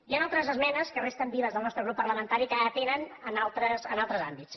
hi han altres esmenes que resten vives del nostre grup parlamentari que atenen altres àmbits